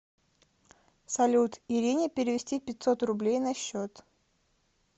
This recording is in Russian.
салют ирине перевести пятьсот рублей на счет